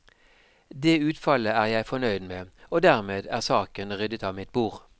Det utfallet er jeg fornøyd med, og dermed er saken ryddet av mitt bord.